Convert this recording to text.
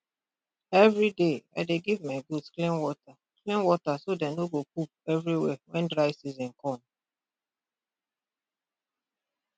everyday i dey give my goats clean water clean water so dem no go poop everywhere when dry season come